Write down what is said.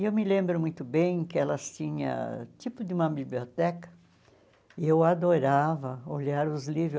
E eu me lembro muito bem que elas tinha tipo de biblioteca e eu adorava olhar os livros.